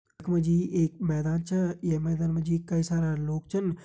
यखमा जी एक मैदान च ये मैदान में जी कई सारा लोग छिन।